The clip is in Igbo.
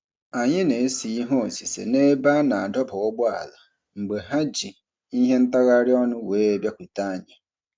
Anyị na-ese ihe osise n'ebe a na-adọba ụgbọala mgbe ha ji ihe ntagharị ọnụ wee bịakwute anyị.